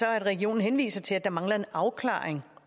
at regionen henviser til at der mangler en afklaring